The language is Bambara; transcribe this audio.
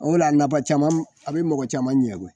O de la a napa caman a be mago caman ɲɛ koyi